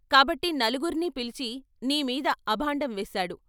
కాబట్టి నలుగుర్నీ పిలిచి నీ మీద అభాండం వేశాడు.